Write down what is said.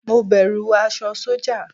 Mo bẹ̀rù aṣọ sọ́jà.